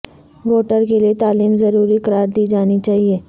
voter کے لیئے تعلیم ضروری قرار دی جانی چاہیئے